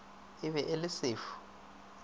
e be e le sefu